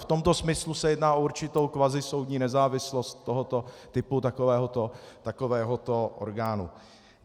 V tomto smyslu se jedná o určitou kvazisoudní nezávislost tohoto typu takovéhoto orgánu.